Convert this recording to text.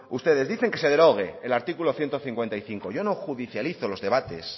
ustedes dicen que se derogue el artículo ciento cincuenta y cinco yo no judicializo los debates